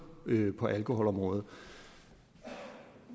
på alkoholområdet